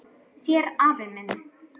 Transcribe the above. Þér afi minn.